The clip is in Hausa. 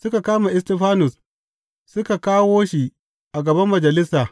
Suka kama Istifanus suka kawo shi a gaban Majalisa.